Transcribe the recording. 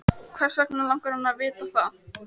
Hvers vegna langar hana til að vita það?